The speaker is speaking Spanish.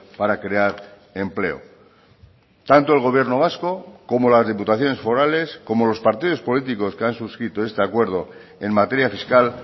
para crear empleo tanto el gobierno vasco como las diputaciones forales como los partidos políticos que han suscrito este acuerdo en materia fiscal